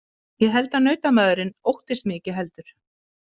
Ég held að nautamaðurinn óttist mig ekki heldur.